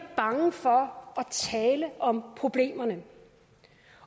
bange for at tale om problemerne